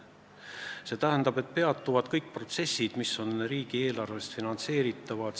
See tähendab, et peatuvad kõik protsessid, mis on riigieelarvest finantseeritavad.